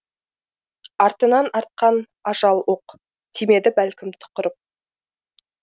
артынан артқан ажал оқ тимеді бәлкім тұқырып